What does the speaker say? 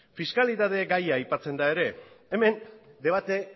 fiskalitate gaia aipatzen da ere hemen debate